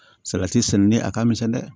Salati sɛnɛnen a ka misɛn dɛ